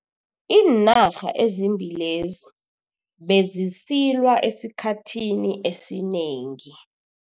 Iinarha ezimbili lezi bezisilwa esikhathini esinengi.